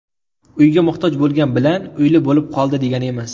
Uyga muhtoj bo‘lgan bilan uyli bo‘lib qoldi, degani emas.